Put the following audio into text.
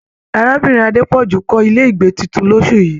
Arábìnrin Adepoju kọ ilé ìgbé títún l'osu yìí